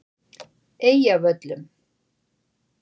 Eyjavöllum